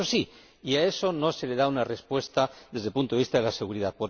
Esto sí, y a eso no se le da una respuesta desde el punto de vista de la seguridad.